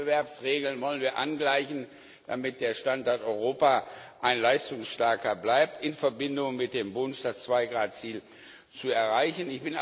Die Wettbewerbsregeln wollen wir angleichen, damit der Standort Europa ein leistungsstarker bleibt, in Verbindung mit dem Wunsch, das Zwei Grad Ziel zu erreichen.